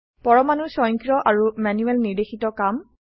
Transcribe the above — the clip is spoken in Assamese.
পৰমাণুৰ স্বয়ংক্ৰিয় আৰু ম্যানুয়েল নিৰ্দেশিত কাম